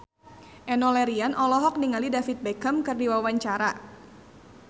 Enno Lerian olohok ningali David Beckham keur diwawancara